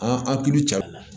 An an kilo cɛ